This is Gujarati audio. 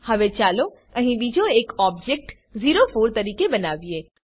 હવે ચાલો અહીં બીજો એક ઓબજેક્ટ ઓ4 તરીકે બનાવીએ